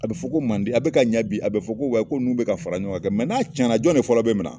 A bɛ fɔ ko mande a bɛ ka ɲa bi a bɛ fɔ ko ko ninnu bɛ ka fara ɲɔgɔn kan n'a cɛn na jɔn de fɔlɔ bɛ mina.